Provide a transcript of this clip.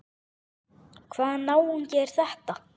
Hvaða náungi er þetta?